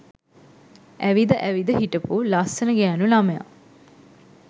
ඇවිද අවිද හිටපු ලස්සන ගෑනු ළමයා